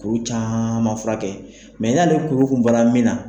Kuru caman furakɛ mɛ n'ale kuru kun bɔra min na